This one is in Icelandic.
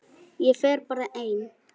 Ég fer bara ein.